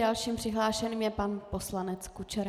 Dalším přihlášeným je pan poslanec Kučera.